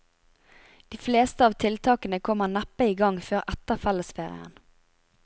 De fleste av tiltakene kommer neppe i gang før etter fellesferien.